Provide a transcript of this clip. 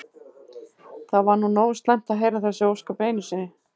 Það var nú nógu slæmt að heyra þessi ósköp einu sinni.